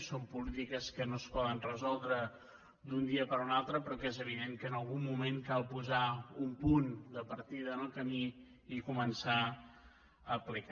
són polítiques que no es poden resoldre d’un dia per un altre però que és evident que en algun moment cal posar un punt de partida en el camí i començar a aplicar